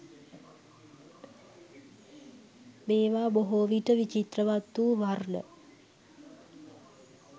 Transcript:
මේවා බොහෝවිට විචිත්‍රවත් වූ වර්ණ